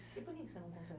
E por que você não